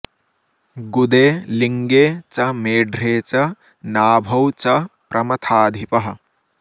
गुदे लिङ्गे च मेढ्रे च नाभौ च प्रमथाधिपः